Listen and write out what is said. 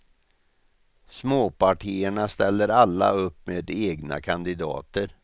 Småpartierna ställer alla upp med egna kandidater.